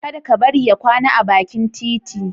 Kada ka bari ya kwana a bakin titi.